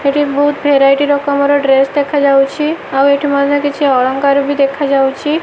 ଏଠି ବହୁତ ଭେରାଇଟି ରକମର ଡ୍ରେସ ଦେଖାଯାଉଛି ଆଉ ଏଠି ମଧ୍ୟ କିଛି ଅଳଙ୍କାରବି ଦେଖାଯାଉଛି।